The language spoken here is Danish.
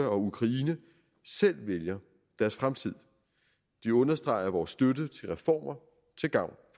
og ukraine selv vælger deres fremtid de understreger vores støtte til reformer til gavn